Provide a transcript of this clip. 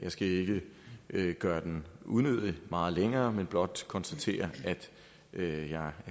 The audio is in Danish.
skal ikke gøre den unødigt meget længere men blot konstatere at jeg er